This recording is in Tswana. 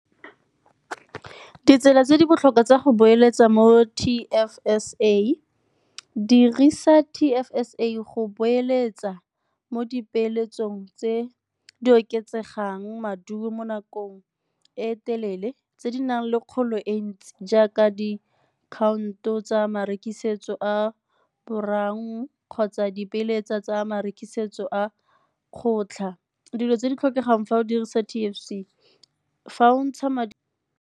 Ditsela tse di botlhokwa tsa go boeletsa mo T_F_S_A, dirisa T_F_S_A go boeletsa mo dipeeletsong tse di oketsegang maduo mo nakong e telele, tse di nang le kgolo e ntsi jaaka diakhaonto tsa marekisetso a kgotsa dipeeletsa tsa marekisetso a kgotlha. Dilo tse di tlhokegang fa o dirisa T_F_C, fa o ntsha madi a.